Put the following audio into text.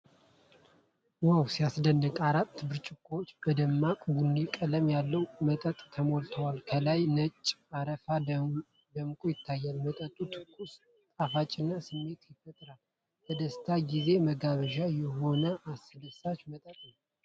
ዋው ሲያስደስት! አራት ብርጭቆዎች በደማቅ ቡኒ ቀለም ያለው መጠጥ ተሞልተዋል። ከላይ ነጭ አረፋ ደምቆ ይታያል። መጠጡ ትኩስና ጣፋጭነት ስሜት ይፈጥራል። ለደስታ ጊዜ መጋበዣ የሆነ አስደሳች መጠጥ ነው።